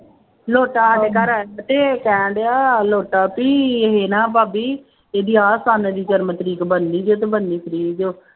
ਲੋਤਾ ਸਾਡੇ ਘਰ ਆਇਆ ਤੇ ਕਹਿਣ ਡਿਆ ਲੋਤਾ ਵੀ ਇਹ ਨਾ ਭਾਬੀ ਇਹਦੀ ਆਹ ਸੰਨ ਦੀ ਜਨਮ ਤਰੀਕ ਬਣਨੀ ਜੇ